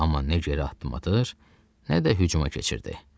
Amma nə geriyə addım atır, nə də hücuma keçirdi.